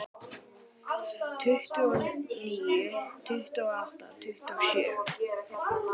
Tuttugu og níu, tuttugu og átta, tuttugu og sjö.